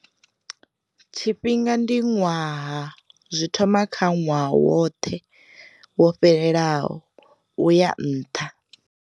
Tshifhinga ndi ṅwaha, zwi thoma kha ṅwaha woṱhe wo fhelelaho uya nṱha.